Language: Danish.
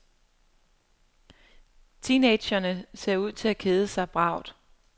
Teenagerne ser ud til at kede sig bravt.